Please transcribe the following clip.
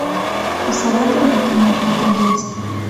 посоветуй мне кино полтергейст